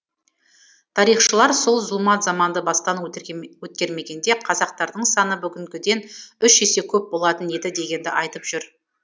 тарихшылар сол зұлмат заманды бастан өткермегенде қазақтардың саны бүгінгіден үш есе көп болатын еді дегенді айтып жүр